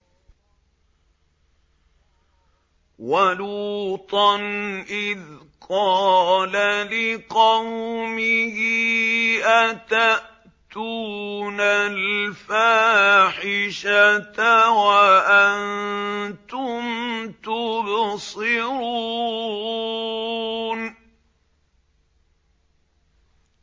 وَلُوطًا إِذْ قَالَ لِقَوْمِهِ أَتَأْتُونَ الْفَاحِشَةَ وَأَنتُمْ تُبْصِرُونَ